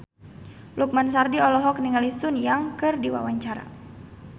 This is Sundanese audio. Lukman Sardi olohok ningali Sun Yang keur diwawancara